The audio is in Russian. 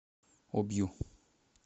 обью